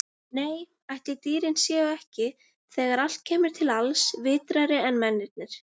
Nei, ætli dýrin séu ekki, þegar allt kemur til alls, vitrari en mennirnir.